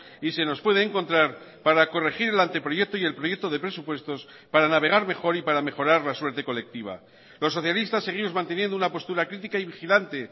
y se nos puede encontrar para corregir el anteproyecto y el proyecto de presupuestos para navegar mejor y para mejorar la suerte colectiva los socialistas seguimos manteniendo una postura crítica y vigilante